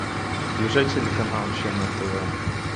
включай телеканал че на тв